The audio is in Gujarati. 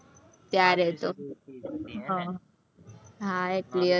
ત્યારે તો, હમ હા, એટલી હતી, ,